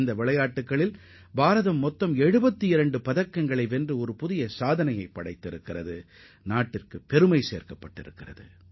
இவர்கள் 72 பதக்கங்களை வென்று இதற்கு முன் கண்டிராத புதிய சாதனைகளைப் படைத்து நாட்டிற்கு பெருமையைத் தேடித்தந்தவர்களாவர்